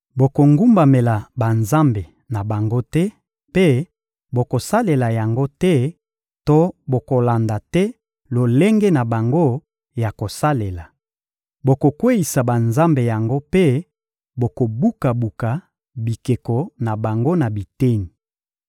Bokogumbamela banzambe na bango te mpe bokosalela yango te to bokolanda te lolenge na bango ya kosalela. Bokokweyisa banzambe yango mpe bokobuka-buka bikeko na bango na biteni.